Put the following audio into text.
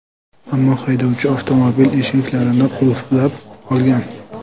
Ammo haydovchi avtomobil eshiklarini qulflab olgan.